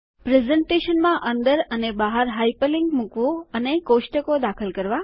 પ્રેઝન્ટેશનમાં અંદર અને બહાર હાઇપરલિન્ક મુકવું અને કોષ્ટકો દાખલ કરવા